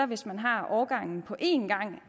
hvis man har årgangen på en gang